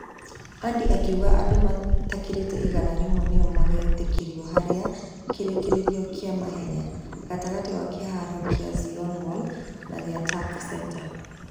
Andy akĩuga andũ matakĩrĩte igana rĩmwe nĩo magetekerio haria kirekererio gia mahenya, gatigati wa kiharo gia ziona mall na gia tac centre.